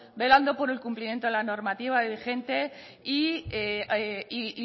velando por el cumplimiento de la normativa vigente y